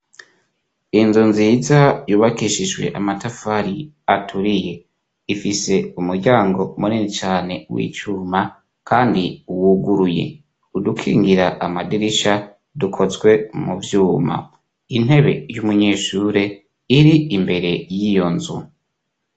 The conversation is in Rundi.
Inzu nziza yubakishijwe amatafari aturiye. Ifise umuryango munini cane w'icuma, kandi wuguruye. Udukingira amadirisha, dukozwe mu vyuma. Intebe y'umunyeshure ir'imbere y'iyo nzu.